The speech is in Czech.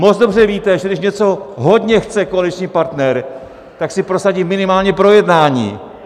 Moc dobře víte, že když něco hodně chce koaliční partner, tak si prosadí minimálně projednání.